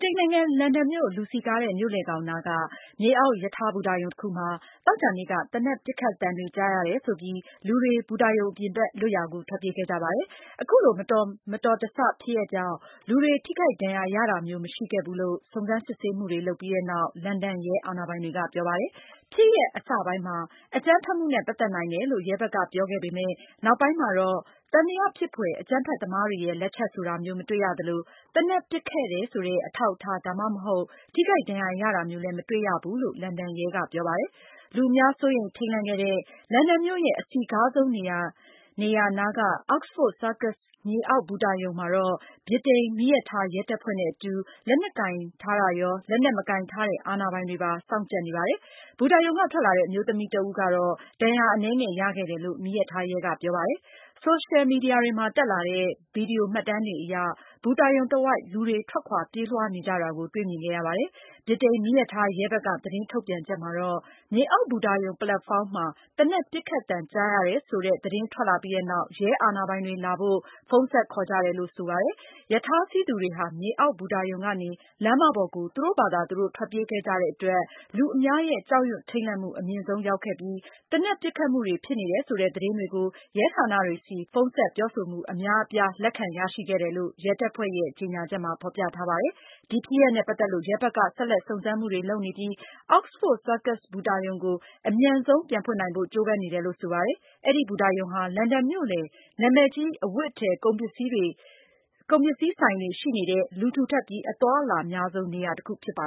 တိန်နိုင်ငံ လန်ဒန်မြို့ လူစည်ကားတဲ့ မြို့လယ်ကောင်နားက မြေအောက်ရထား ဘူတာရုံတခုမှာ သောကြာနေ့က သေနတ်ပစ်ခတ်သံတွေ ကြားရတယ်ဆိုပြီး လူတွေ စုပြုံပြီး ဘူတာရုံအပြင်ဘက် လွတ်ရာကို ထွက်ပြေးခဲ့ကြပါတယ်။ အခုလိုမတော်မဆ ဖြစ်ရပ်ကြောင့် လူတွေ ထိခိုက် ဒဏ်ရာ ရတာမျိုးမရှိခဲ့ဘူးလို့ စုံစမ်းစစ်ဆေးမှုတွေလုပ်ပြီးနောက် လန်ဒန်ရဲအာဏာပိုင်တွေက ပြောပါတယ်။ ဖြစ်ရပ် အစပိုင်းမှာ အကြမ်းဖက်မှုနဲ့ ပတ်သက်နိုင်တယ်လို့ ရဲဘက်က ပြောခဲ့ပေမယ့် နောက်ပိုင်းမှာတော့ သံသယဖြစ်ဖွယ်အကြမ်းဖက်သမားတွေရဲ့ လက်ချက်ဆိုတာမျိုး မတွေ့ရသလို၊ သေနတ်ပစ်ခဲ့တယ်ဆိုတဲ့ အထောက်အထား ဒါမှမဟုတ် ထိခိုက်ဒဏ်ရာရတာမျိုး လည်း မတွေ့ရဘူးလို့ လန်ဒန်ရဲက ပြောပါတယ်။ လူအများ စိုးရိမ်ထိတ်လန့်ခဲ့တဲ့ လန်ဒန်မြို့ရဲ့ အစည်းကားဆုံးနေရာနားက Oxford Circus မြေအောက်ဘူတာရုံမှာတော့ ဗြိတိန် မီးရထားရဲတပ်ဖွဲ့နဲ့အတူ လက်နက်ကိုင်ထားတာရော၊ လက်နက်မကိုင်ထားတဲ့ အာဏာပိုင်တွေ စောင့်ကြပ်နေပါတယ်။ ဘူတာရုံကထွက်လာတဲ့ အမျိုးသမီးတဦးတော့ ဒဏ်ရာအနည်းငယ်ရခဲ့တယ်လို့ မီးရထားရဲက ပြောပါတယ်။ ဆိုရှယ်မီဒီယာတွေမှာ တက်လာတဲ့ ဗီဒီယိုမှတ်တမ်းတွေအရ ဘူတာရုံတဝိုက် လူတွေ ထွက်ခွာပြေးလွှားနေကြတာတွေကို တွေ့ မြင်ခဲ့ရပါတယ်။ ဗြိတိန် မီးရထားရဲ ဘက်က သတင်းထုတ်ပြန်ချက်မှာတော့ မြေအောက်ဘူတာရုံ ပလက်ဖောင်းမှာ သေနတ်ပစ်ခတ်သံကြားရတယ်ဆိုတဲ့ သတင်းထွက်လာပြီးနောက် ရဲအာဏာပိုင်တွေလာဖို့ ဖုန်းဆက်ခေါ်ကြတယ်လို့ဆိုပါတယ်။ ရထားစီးသူတွေဟာ မြေအောက်ဘူတာရုံကနေ လမ်းမပေါ်ကို သူတို့ဘာသာသူတို့ ထွက်ပြေးခဲ့ကြတဲ့အတွက် လူအများရဲ့ ကြောက်ရွံထိတ်လန့်မှု အမြင့်ဆုံးရောက်ခဲ့ပြီး သေနတ် ပစ်ခတ်မှုတွေဖြစ်နေတယ် ဆိုတဲ့သတင်းတွေကို ရဲဌာနတွေဆီဖုန်းဆက်ပြောဆိုမှု အများအပြားရှိခဲ့တယ်လို့ ရဲတပ်ဖွဲ့ရဲ့ ကြေညာချက်မှာ ဖေါ်ပြထားပါတယ်။ ဒီဖြစ်ရပ်နဲ့ ပတ်သက်လို့ ရဲဘက်က ဆက်လက်စုံစမ်းမှုတွေလုပ်နေပြီး Oxford Circus ဘူတာရုံကို အမြန်ဆုံး ပြန်ဖွင့်နိုင်ဖို့ ကြိုးပမ်းနေတယ်လို့ ဆိုပါတယ်။ အဲဒီဘူတာရုံဟာ လန်ဒန်မြို့လယ် နာမည်ကြီး အဝတ်အထည်၊ ကုန်ပစ္စည်းဆိုင်တွေရှိနေတဲ့ လူထူထပ်ပြီး အသွားအလာအများဆုံးနေရာတခုဖြစ်ပါ